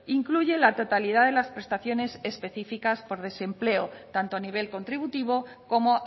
incluye la totalidad de las prestaciones especificas por desempleo tanto a nivel contributivo como